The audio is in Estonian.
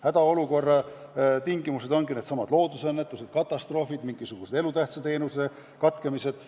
Hädaolukorra põhjustavad loodusõnnetused, katastroofid, mingisuguste elutähtsate teenuste katkemised.